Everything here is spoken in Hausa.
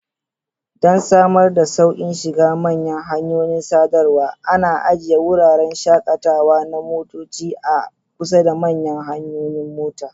Don samar da sauƙin shiga manyan hanyoyin sadarwa, ana ajiye wuraren shakatawa na motoci a kusa da manyan hanyoyin mota.